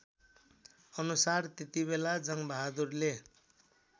अनुसार त्यतिबेला जङ्गबहादुरले